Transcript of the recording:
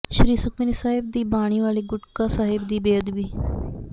ਸ੍ਰੀ ਸੁਖਮਨੀ ਸਾਹਿਬ ਦੀ ਬਾਣੀ ਵਾਲੇ ਗੁਟਕਾ ਸਾਹਿਬ ਦੀ ਬੇਅਦਬੀ